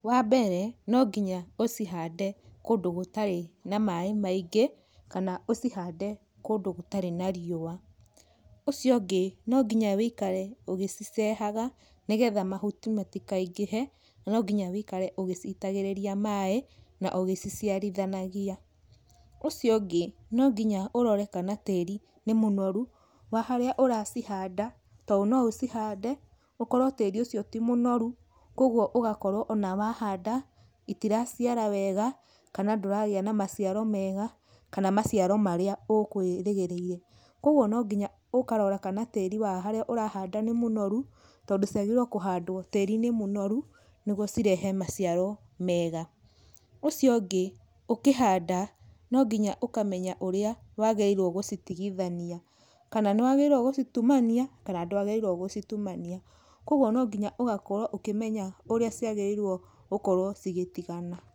Wa mbere no nginya ũcihande kũndũ gũtarĩ na maĩ maingĩ kana ũcihande kũndũ gũtarĩ na ritwa. Ũcio ũngĩ no nginya ũikare ũgĩcicehaga nĩgetha mahuti matikaingĩhe nonginya ũikare ũgĩcitagĩrĩria maĩ, na ũgĩciciarithanagia. Ũcio ũngĩ nonginya ũrore kana tĩri nĩ mũnoru wa harĩa ũracihanda to no ũcihande ũkorwo tĩri ũcio ti mũnoru, koguo ũgakorwo ona wa handa itiraciara wega kana ndũragĩa na maciaro mega kana maciaro marĩa ũkwĩrĩgĩrĩire. Koguo no nginya ũkarora kana tĩri wa haria ũrahanda nĩ mũnoru tondũ ciagĩrĩirwo kũhandwo tirĩ-inĩ mũnoru niguo cirehe maciaro mega. Ũcio ũngĩ ũkĩhanda no nginya ũkamenya ũrĩa wagĩrĩirwo gũcitigithania kana nĩ wagĩrĩirwo gũcitumania kana ndwagĩrĩirwo gũcitumania. Koguo no nginya ũgakorwo ũkĩmenya ũrĩa ciagĩrĩirwo gũkorwo ci gĩtigana.